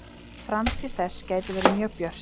Framtíð þess gæti verið mjög björt.